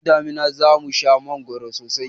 Lokacin damina za mu sha mangoro sosai.